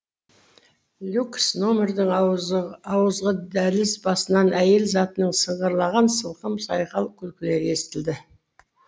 люкс нөмірдің ауызғы дәліз басынан әйел затының сыңғырлаған сылқым сайқал күлкілері естілді